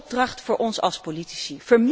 Dat is de opdracht voor ons als politici.